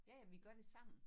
Ja jamen vi gør det sammen